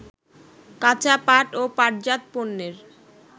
কাঁচা পাট ও পাটজাত পণ্যের